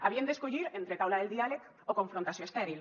havien d’escollir entre taula del diàleg o confrontació estèril